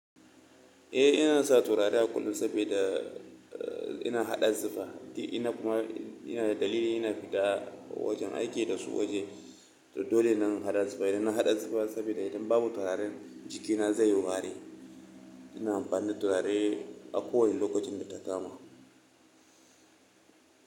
Eh ina sa turare a kullum sabida ina haɗa zufa. Ina kuma, ina dalili ina fita wajen aiki da su waje. To dole ne in haɗa zufa, idan na haɗa zufa sabida idan babu turaren jikina zai yi wari. Ina amfani da turare a kowani lokacin da ta kama.